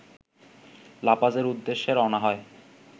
লাপাজের উদ্দেশে রওনা হয়